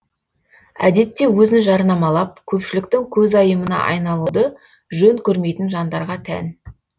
әдетте өзін жарнамалап көпшіліктің көзайымына айналуды жөн көрмейтін жандарға тән